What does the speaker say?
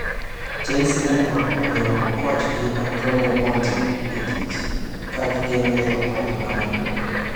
Chelsea ne riembo kochgi Antonio Conte e tich, ka gigeno yiero koch ma Napoli .